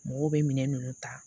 Mɔgɔw bɛ minɛn ninnu ta